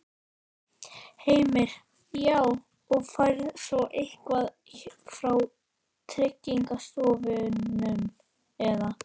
Heimir: Já, og færð svo eitthvað frá Tryggingastofnun eða?